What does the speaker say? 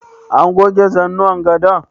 An goge zanuwan gadon?